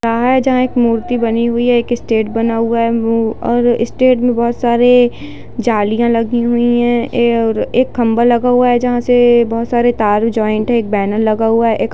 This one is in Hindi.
है जहां एक मूर्ति बनी हुई है एक स्टेज बना हुआ है और स्टेज में बहुत सारे जालियां लगी हुई है और एक खम्भा लगा हुआ है जहां से बहुत सारे तार भी जॉइंट है एक बैनर लगा हुआ है एक --